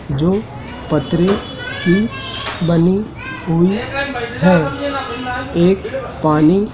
जो पथरी की बनी हुई है एक पानी--